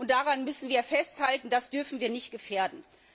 Daran müssen wir festhalten, das dürfen wir nicht gefährden.